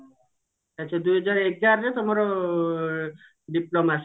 ଆଛା ଦୁଇ ହଜାର ଏଗାରରେ ତମର diploma